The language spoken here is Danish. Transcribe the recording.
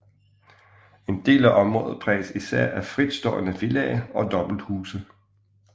En del af området præges især af fritstående villaer og dobbelthuse